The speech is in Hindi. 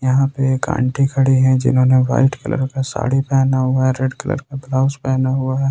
यहां पे एक आंटी खड़ी है जिन्होंने व्हाइट कलर का साड़ी पहना हुआ है रेड कलर का ब्लाउज पहना हुआ है।